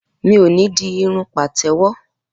Mi ò ní di irun pàtẹ́wọ́.